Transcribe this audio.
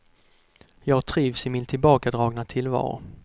Jag trivs i min tillbakadragna tillvaro.